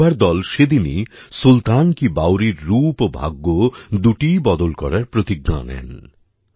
ওই যুবার দল সেদিনই সুলতান কি বাওড়ির রুপ ও ভাগ্য দুটিই বদল করার প্রতিজ্ঞা নেন